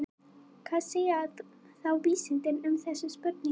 Hvað segja þá vísindin um þessa spurningu?